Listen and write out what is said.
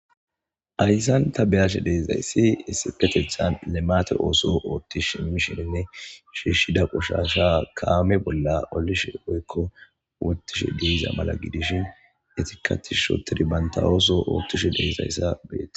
Hayssan ta be'ashe de'izayssi isipetethan limaate ooso ooththi simiishininne shiishida qoshasha kaame bolla olishe woykko woththishe de'iza mala gidishin eetika tishshi oothidi bantta ootho oothishe de'izayssa beete.